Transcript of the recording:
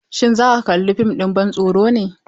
Shin za ka kalla fim ɗin ban tsoro ne?